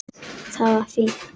Það var fínt.